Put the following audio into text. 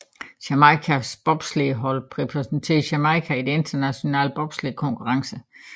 Jamaicas bobslædehold repræsenterer Jamaica i internationale bobslædekonkurrencer